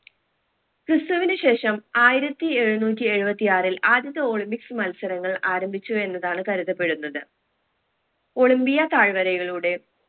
ക്രിസ്തുവിന് ശേഷം ആയിരത്തി എഴുന്നൂറ്റി എഴുപത്തി ആറിൽ ആദ്യത്തെ olympics മത്സരങ്ങൾ ആരംഭിച്ചു എന്നതാണ് കരുതപ്പെടുന്നത് ഒളിമ്പിയ തായ്‌വരയിലൂടെ